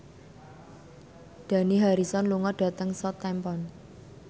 Dani Harrison lunga dhateng Southampton